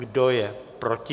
Kdo je proti?